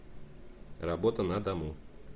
работа на дому